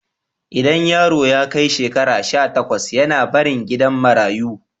Idan yaro ya kai shekara sha takwas yAna barin gidan marayu